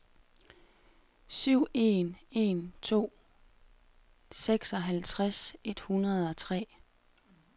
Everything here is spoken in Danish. syv en en to seksoghalvtreds et hundrede og tre